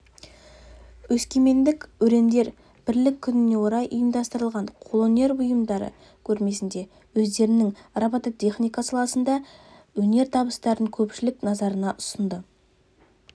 өскемендік өрендер бірлік күніне орай ұйымдастырылған қолөнер бұйымдары көрмесінде өздерінің робототехника саласындағы өнертабыстарын көпшілік назарына ұсынды